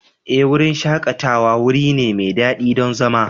Ee, wurin shakatawa wuri ne mai daɗi don zama.